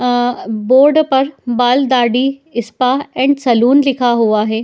अह board पर बाल दाढ़ी इस्पा एंड सलून लिखा हुआ है।